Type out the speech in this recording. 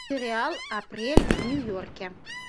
сериал апрель в нью йорке